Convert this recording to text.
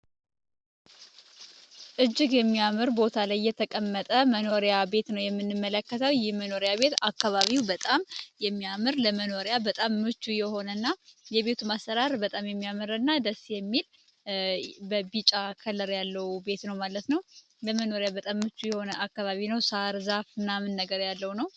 እጅግ የሚያምር ቦታ ላይ እየተቀመጠ መኖሪያ ቤት ነው የምንመለከተው ይህ የመኖሪያ ቤት አካባቢው በጣም የሚያምር ለመኖሪያ በጣም ምቹ የሆነና የቤቱም ማሰራር በጣም የሚያምርና ደስ የሚል በቢጫ ከለር ያለው ቤት ነው ማለት ነው። ለመኖሪያ በጣም ምቹ የሆነ አካባቢ ነው። ሳር ዛፍ ምናምን ያለው ነው።